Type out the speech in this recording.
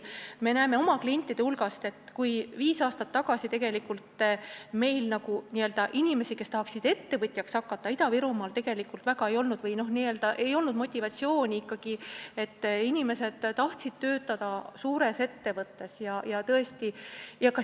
Me näeme oma klientide hulgas, et viis aastat tagasi inimesi, kes tahtsid ettevõtjaks hakata, Ida-Virumaal väga ei olnud, ei olnud motivatsiooni, inimesed tahtsid töötada suures ettevõttes.